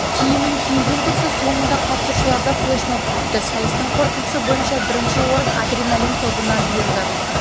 киімін киюден тұрса соңында қатысушыларды флеш-моб күтті сайыстың қорытындысы бойынша бірінші орын адреналин тобына бұйырды